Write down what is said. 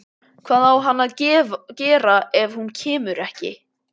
Hvað á hann að gera ef hún kemur ekki?